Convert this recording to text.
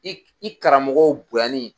I i karamɔgɔw bonyani